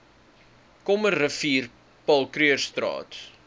krommerivier paul krugerstraat